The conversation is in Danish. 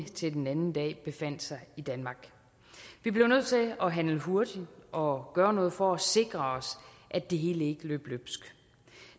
til den anden dag befandt sig i danmark vi blev nødt til at handle hurtigt og gøre noget for at sikre os at det hele ikke løb løbsk